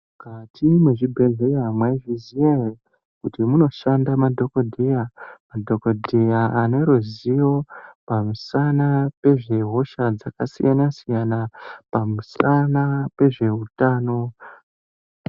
Mukati mwezvibhedhleya mwaizviziya ere kuti munoshanda madhokodheya, madhokodheya ane ruziyo pamusana pezve hosha dzakasiyana siyana, pamusana pezve utano.